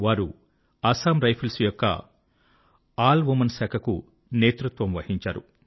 వారు అస్సాం రైఫిల్స్ యొక్క all woman శాఖ కు నేతృత్వం వహించారు